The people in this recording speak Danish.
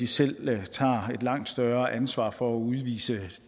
selv tager et langt større ansvar for at udvise